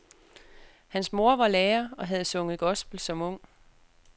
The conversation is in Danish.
Hans mor var lærer og havde sunget gospel som ung.